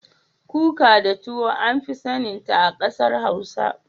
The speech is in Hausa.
Kuka da tuwo an fi sanin ta a kasar hausa.